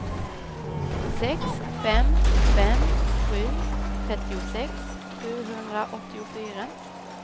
sex fem fem sju trettiosex sjuhundraåttiofyra